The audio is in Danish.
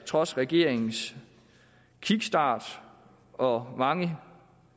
trods regeringens kickstart og mange